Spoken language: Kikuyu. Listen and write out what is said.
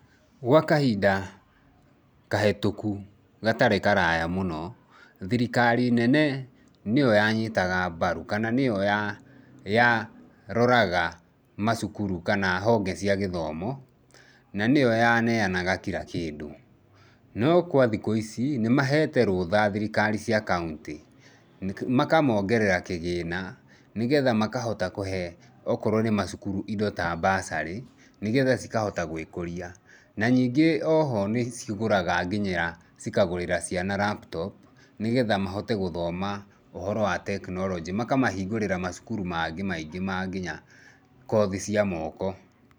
Gwa kahinda kahĩtũku gatarĩ karaya mũno, thirikari nene nĩ yo yanyitaga mbaru kana nĩ yo ya ya yaroraga macukuru kana honge cia gĩthomo, na nĩ yo yaneanaga kira kĩndũ. No kwa thikũ ici nĩ mahete rũtha thirikari cia kaũntĩ, makamoongerera kĩgĩna nĩgetha makahota kũhe okorwo nĩ macukuru indo ta bursary nĩgetha cikahota gwĩkũria. Na nyingĩ o ho nĩ cigũraga nginyĩra cikagũrĩra ciana laptop nĩgetha mahote gũthoma ũhoro wa technology, makamahingũrĩra macukuru mangĩ maingĩ ma nginya kothi cia moko.